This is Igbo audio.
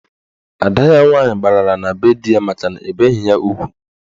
Ada ya nwaanyị gbalara na be di ya makana ebeghi ya ugwu.